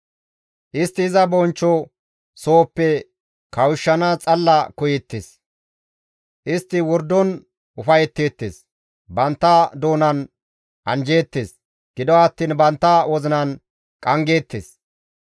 Istti iza bonchcho sohoppe kawushshanaas xalla koyeettes; istti wordon ufayetteettes; bantta doonan anjjeettes; gido attiin bantta wozinan qanggeettes.